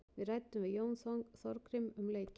Við ræddum við Jón Þorgrím um leikinn.